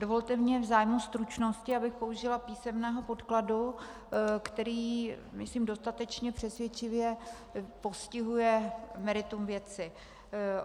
Dovolte mně v zájmu stručnosti, abych použila písemného podkladu, který myslím dostatečně přesvědčivě postihuje meritum věci.